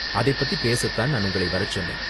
அதைப் பத்தி பேச தான் நான் உங்கள வரச் சொன்னேன்.